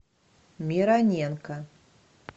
мироненко